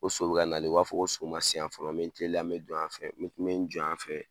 Ko so bɛka nalen, o b'a fɔ ko so ma se yan fɔlɔ, me teliya me n dɔ yan fɛ, me jɔ yan fɛ.